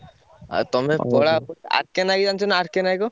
ଆଉ ତମେ କଳା R.K. ନାୟକକୁ ଜାଣିଚୁ ନା R.K. ନାୟକ?